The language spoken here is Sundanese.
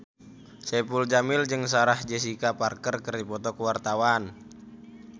Saipul Jamil jeung Sarah Jessica Parker keur dipoto ku wartawan